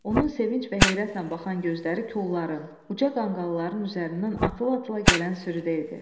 Onun sevinc və heyrətlə baxan gözləri kolları, uca qanqalların üzərindən atıla-atıla gələn sürüdə idi.